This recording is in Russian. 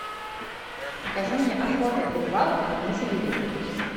покажи мне охота и рыбалка на телевизоре